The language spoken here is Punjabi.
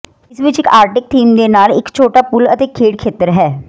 ਇਸ ਵਿੱਚ ਇੱਕ ਆਰਟਿਕ ਥੀਮ ਦੇ ਨਾਲ ਇੱਕ ਛੋਟਾ ਪੂਲ ਅਤੇ ਖੇਡ ਖੇਤਰ ਹੈ